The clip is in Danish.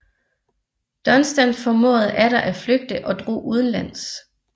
Dunstan formåede atter at flygte og drog udenlands